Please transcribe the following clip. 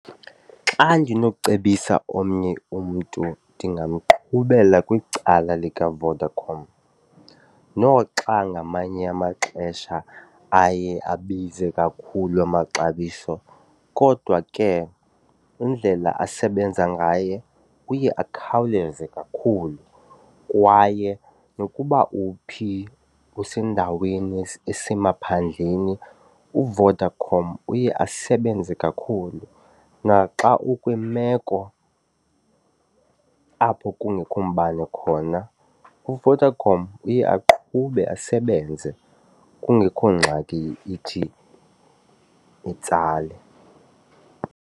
Xa ndinokucebisa omnye umntu ndingamqhubela kwicala likaVodacom noxa ngamanye amaxesha aye abize kakhulu amaxabiso, kodwa ke indlela asebenza ngaye uye akhawuleze kakhulu. Kwaye nokuba uphi, usendaweni esemaphandleni uVodacom uye asebenze kakhulu naxa ukwimeko apho kungekho mbane khona uVodacom uye aqhube asebenze kungekho ngxaki ithi itsale.